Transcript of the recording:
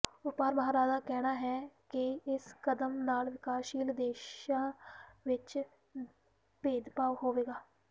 ਵਪਾਰ ਮਾਹਰਾਂ ਦਾ ਕਹਿਣਾ ਹੈ ਕਿ ਇਸ ਕਦਮ ਨਾਲ ਵਿਕਾਸਸ਼ੀਲ ਦੇਸ਼ਾਂ ਵਿਚ ਭੇਦਭਾਵ ਹੋਵੇਗਾ